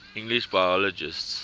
english biologists